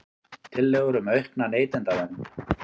Tillögur um aukna neytendavernd